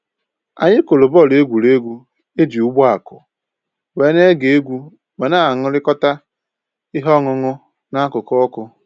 Anyị kụrụ bọọlụ egwuregwu e ji ugbo akụ, wee na-ege egwu ma na-aṅụrịkọta ihe ọṅụṅụ n'akụkụ ọkụ